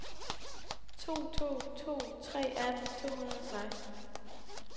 to to to tre atten to hundrede og seksten